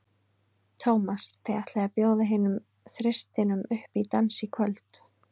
Tómas, þið ætlið að bjóða hinum þristinum upp í dans í kvöld?